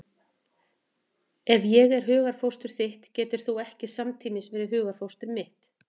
Ef ég er hugarfóstur þitt getur þú ekki samtímis verið hugarfóstur mitt.